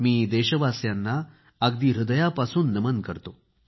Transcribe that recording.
मी देशवासियांना अगदी हृदयापासून नमन करतो